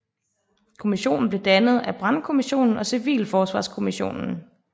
Kommissionen blev dannet af brandkommission og civilforsvarskommission